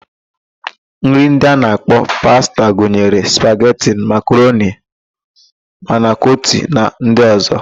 Nri ndị a na-akpọ pasta gunyere: spageti, makaroni, manịkoti na ndị ọ̀zọ́.